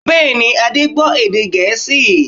Bẹ́ẹ̀ni, Adé gbọ́ èdè Gẹ̀ẹ́sì